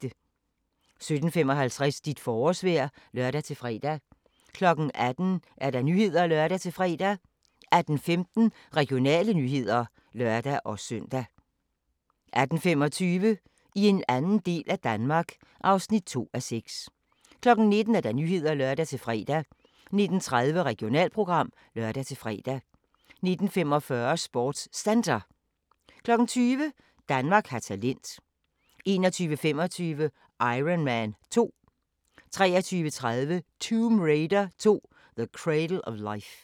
17:55: Dit forårsvejr (lør-fre) 18:00: Nyhederne (lør-fre) 18:15: Regionale nyheder (lør-søn) 18:25: I en anden del af Danmark (2:6) 19:00: Nyhederne (lør-fre) 19:30: Regionalprogram (lør-fre) 19:45: SportsCenter 20:00: Danmark har talent 21:25: Iron Man 2 23:30: Tomb Raider 2: The Cradle of Life